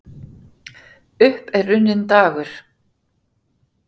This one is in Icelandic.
Upp er runninn dagur